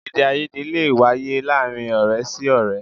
Èdèàìyedè lè wáyé láàárín ọ̀rẹ́ sí ọ̀rẹ́